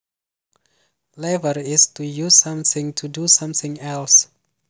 Lever is to use something to do something else